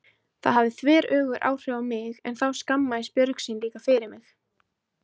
Það hafði þveröfug áhrif á mig en þá skammaðist Björg sín líka fyrir mig.